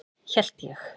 Hélt ég.